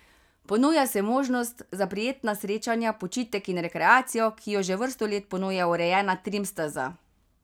Ponuja se možnost za prijetna srečanja, počitek in rekreacijo, ki jo že vrsto let ponuja urejena trim steza.